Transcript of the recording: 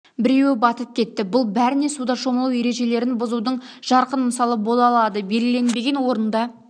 біреуі батып кетті бұл бәріне суда шомылу ережелерін бұзудың жарқын мысалы бола алады белгіленбеген орында